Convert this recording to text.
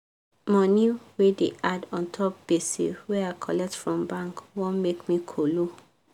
money wey da add untop gbese wey i colet from bank wan make me kolo